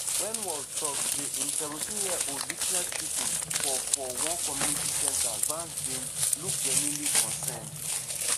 wen walz tok say im 17-year-old witness shooting for for one community center vance bin look genuinely concerned.